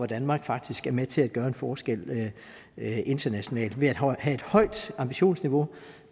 danmark faktisk er med til at gøre en forskel internationalt ved at have et højt ambitionsniveau